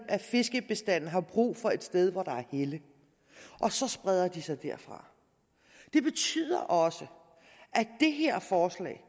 at fiskebestandene har brug for et sted hvor der er helle og så spreder de sig derfra det betyder også at det her forslag